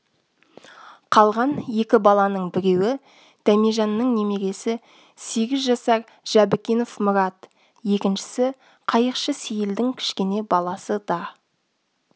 қалған екі баланың біреуі дәмежанның немересі сегіз жасар жәбікенов мұрат екіншісі қайықшы сейілдің кішкене баласы да